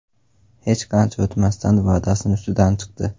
Hech qancha o‘tmasdan va’dasini ustidan chiqdi.